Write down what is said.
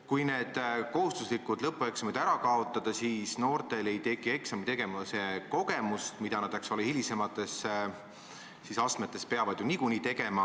Kui kohustuslikud lõpueksamid ära kaotada, siis ei saa noored eksami tegemise kogemust, ent hilisemates astmetes peavad nad eksameid ju niikuinii tegema.